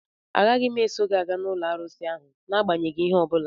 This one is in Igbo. Agaghị m eso gị gaa n'ụlọ arụsị ahụ n'agbanyeghị ihe ọ bụla